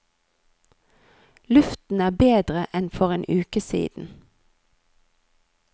Luften er bedre enn for en uke siden.